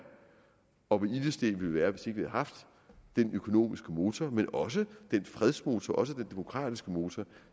og hvor ilde stedt vi ville være hvis ikke vi havde haft den økonomiske motor men også den fredsmotor også den demokratiske motor